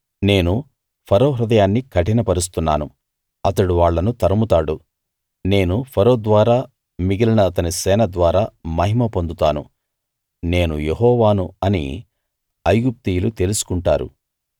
నేను ఫరో హృదయాన్ని కఠినపరుస్తున్నాను అతడు వాళ్ళను తరుముతాడు నేను ఫరో ద్వారా మిగిలిన అతని సేన ద్వారా మహిమ పొందుతాను నేను యెహోవాను అని ఐగుప్తీయులు తెలుసుకుంటారు